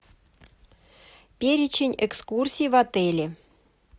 перечень экскурсий в отеле